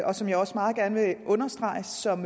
og som jeg også meget gerne vil understrege som